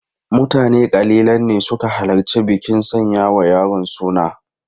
Mutane kalilan ne suka halarci bikin sanya wa yaron suna.